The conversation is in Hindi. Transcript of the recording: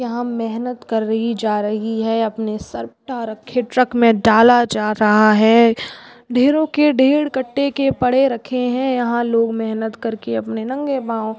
यहां मेहनत करी रही जा रही है अपने सर पर ट्रक में डाला जा रहा है ढेरो के ढेर कटो के रखे पड़े है यहां लोग मेहनत कर के नंगे पाँव--